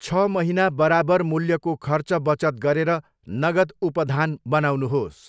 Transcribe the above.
छ महिना बराबर मूल्यको खर्च बचत गरेर नगद उपधान बनाउनुहोस्।